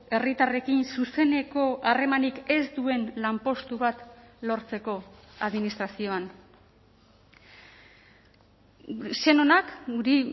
herritarrekin zuzeneko harremanik ez duen lanpostu bat lortzeko administrazioan sen onak guri